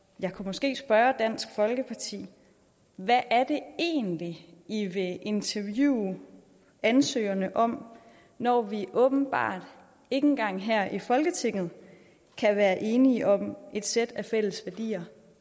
jeg kunne måske spørge dansk folkeparti hvad er det egentlig i vil interviewe ansøgerne om når vi åbenbart ikke engang her i folketinget kan være enige om et sæt af fælles værdier